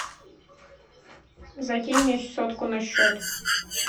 закинь мне сотку на счет